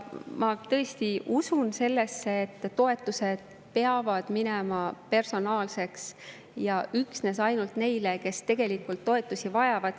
Ma tõesti usun sellesse, et toetused peavad minema personaalseks ja olema üksnes neile, kes tegelikult toetusi vajavad.